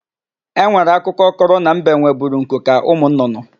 E nwere akụkọ kọrọ na mbe nweburu nku ka ụmụnnụnnụ.